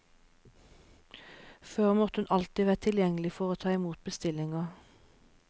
Før måtte hun alltid være tilgjengelig for å ta i mot bestillinger.